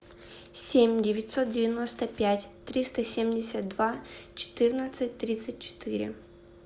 семь девятьсот девяносто пять триста семьдесят два четырнадцать тридцать четыре